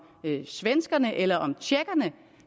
svenskerne eller om tjekkerne